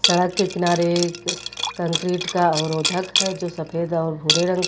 सड़क के किनारे एक कंक्रीट का अवरोधक है जो सफेद और भूरे रंग का--